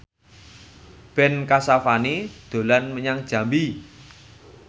Ben Kasyafani dolan menyang Jambi